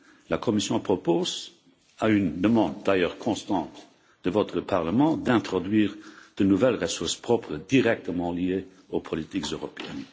La Commission propose, à une demande d'ailleurs constante de votre Parlement, d'introduire de nouvelles ressources propres directement liées aux politiques européennes.